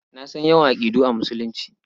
Na san yawan aƙidu a Musulunci.